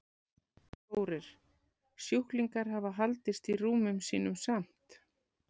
Þórir: Sjúklingar hafa haldist í rúmum sínum samt?